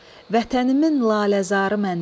Vətənimin laləzarı məndədir.